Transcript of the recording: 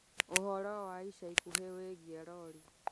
Ũhoro wa ica ikuhĩ wĩgiĩ rori